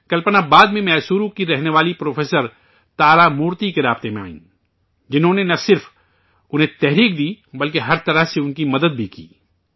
کلپنا بعد میں میسور کی رہنے والی پروفیسر تارامورتی کے رابطے میں آئیں، جنہوں نے نہ صرف ان کی حوصلہ افزائی کی ، بلکہ ہر طرح سے ان کی مدد بھی کی